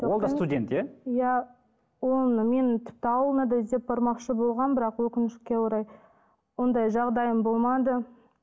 ол да студент иә иә оны мен тіпті ауылына да іздеп бармақшы болғанмын бірақ өкінішке орай ондай жағдайым болмады